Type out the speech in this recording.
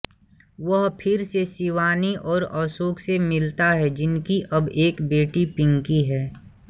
वह फिर से शिवानी और अशोक से मिलता है जिनकी अब एक बेटी पिंकी है